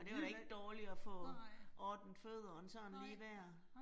Og det var da ikke dårligt at få ordnet fødderne sådan lige der